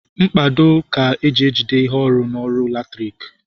Mkpado ka eji ejigide ihe ọrụ n'ọrụ latriki